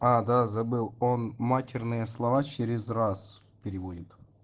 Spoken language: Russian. а да забыл он матерные слова через раз переводит